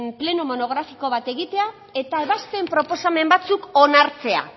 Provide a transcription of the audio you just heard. pleno monografiko bat egitea eta ebazpen proposamen batzuk onartzea